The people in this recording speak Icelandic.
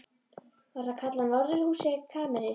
Var það kallað norðurhús eða kamers